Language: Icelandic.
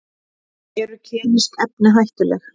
Eru kemísk efni hættuleg?